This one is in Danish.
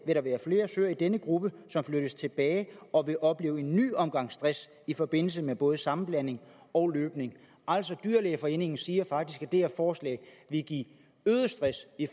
vil der være flere søer i den gruppe der flyttes tilbage og oplever en ny omgang stress i forbindelse med både sammenblanding og løbning altså dyrlægeforeningen siger faktisk at det her forslag vil give øget stress i